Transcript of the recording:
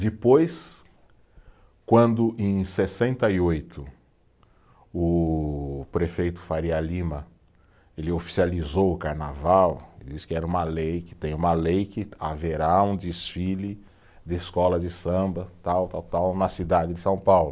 Depois, quando, em sessenta e oito, o prefeito Faria Lima ele oficializou o carnaval, ele disse que era uma lei, que tem uma lei que haverá um desfile de escola de samba, tal tal tal, na cidade de São Paulo.